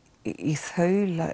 í þaula